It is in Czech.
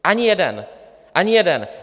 Ani jeden, ani jeden!